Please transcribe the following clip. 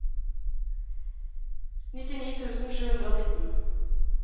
nittini tusen sju hundre og nitten